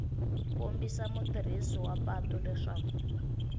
kombisa mutirhisi wa patu leswaku